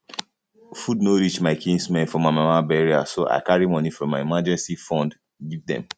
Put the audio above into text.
food no reach my kinsmen for my mama burial so i carry money from my emergency fund give dem